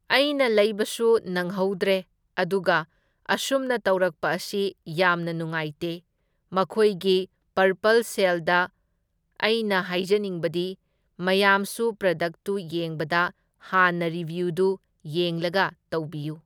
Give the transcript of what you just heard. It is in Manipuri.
ꯑꯩꯅ ꯂꯩꯕꯁꯨ ꯅꯪꯍꯧꯗ꯭ꯔꯦ, ꯑꯗꯨꯒ ꯑꯁꯨꯝꯅ ꯇꯧꯔꯛꯄ ꯑꯁꯤ ꯌꯥꯝꯅ ꯅꯨꯉꯥꯏꯇꯦ, ꯃꯈꯣꯏꯒꯤ ꯄꯔꯄꯜ ꯁꯦꯜꯗ ꯑꯩꯅ ꯍꯥꯏꯖꯅꯤꯡꯕꯗꯤ ꯃꯌꯥꯝꯁꯨ ꯄ꯭ꯔꯗꯛꯇꯨ ꯌꯦꯡꯕꯗ ꯍꯥꯟꯅ ꯔꯤꯕ꯭ꯌꯨꯗꯨ ꯌꯦꯡꯂꯒ ꯇꯧꯕꯤꯌꯨ꯫